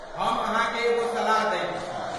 हम अहाँके एगो सलाह दैत छी।